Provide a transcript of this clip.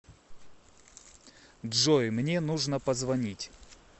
джой мне нужно позвонить